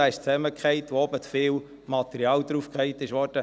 Dieser ist zusammengebrochen, weil zu viel Material oben drauf geworfen wurde.